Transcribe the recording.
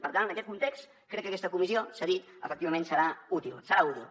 per tant en aquest context crec que aquesta comissió s’ha dit efectivament serà útil serà útil